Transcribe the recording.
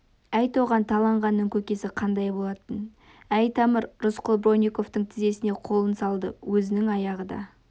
айт оған таланғанның көкесі қандай болатынын әй тамыр рысқұл бронниковтың тізесіне қолын салды өзінің аяғы да